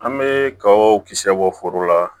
An bɛ kaw kisɛ bɔ foro la